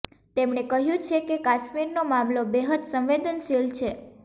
તેમણે કહ્યુ છે કે કાશ્મીરનો મામલો બેહદ સંવેદનશીલ છે